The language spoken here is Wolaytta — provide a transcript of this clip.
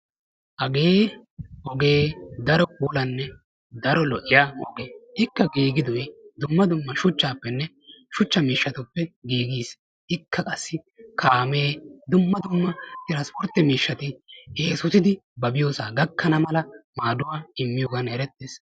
Hage oge daro puulaane daro lo'iya ogee. Ikka gigidoy dumma dumma shuchchappene shuchcha miisshatuppe gigiis; ikka qassi kaame dumma dumma tiranspportte miishshati esotidi ba biyosa gakanamala maaduwa immiyogan eretees.